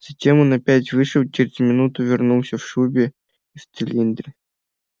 затем он опять вышел и через минуту вернулся в шубе и в цилиндре